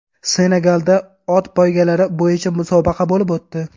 Senegalda ot poygalari bo‘yicha musobaqa bo‘lib o‘tdi.